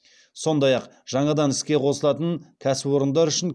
сондай ақ жаңадан іске қосылатын кәсіпорындар үшін